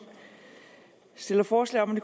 stillede forslag om